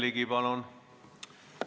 Aitäh!